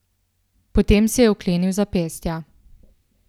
Potem si je vklenil zapestja.